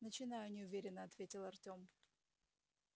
начинаю неуверенно ответил артём